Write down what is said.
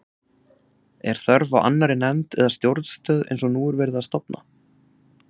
Er þörf á annarri nefnd eða stjórnstöð eins og nú er verið að stofna?